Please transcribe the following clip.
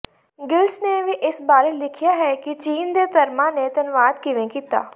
Giles ਨੇ ਵੀ ਇਸ ਬਾਰੇ ਲਿਖਿਆ ਹੈ ਕਿ ਚੀਨ ਦੇ ਧਰਮਾਂ ਨੇ ਧਨਵਾਦ ਕਿਵੇਂ ਕੀਤਾ